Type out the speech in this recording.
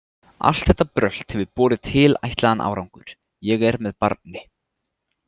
Allt þetta brölt hefur borið tilætlaðan árangur, ég er með barni.